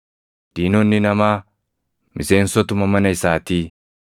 diinonni namaa, miseensotuma mana isaatii.’ + 10:36 \+xt Mik 7:6\+xt*